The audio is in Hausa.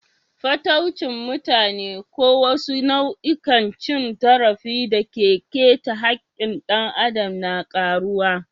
Fataucin mutane ko wasu nau'ikan cin zarafi da ke keta haƙƙin ɗan adam na karuwa.